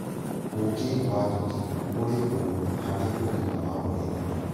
ũũkĩ wa njukĩ ũrĩ ũguni harĩ ũgima wa mwĩrĩ